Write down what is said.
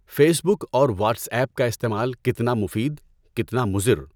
Face بک اور WhatsApp کا استعمال کتنا مفید، کتنا مضر؟